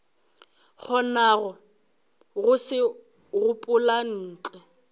kgonago go se gopola ntle